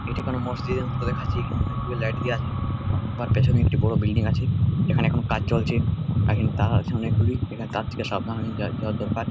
এটি কোনো মসজিদ -এর মত দেখাচ্ছে এখানে অনেক গুলো লাইট দিয়া আছে উআর পেছনে একটি বড় বিল্ডিং আছে এখানে এখন কাজ চলছে এখানে তার আছে অনেকগুলি এখানে তার থেকে সাবধান হয়ে যাও যাওয়া দরকার।